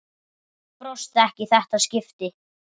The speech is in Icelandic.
Brosti ekki í þetta skipti.